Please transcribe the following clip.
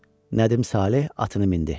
Nədim Saleh atını mindi.